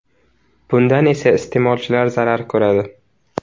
Bundan esa iste’molchilar zarar ko‘radi.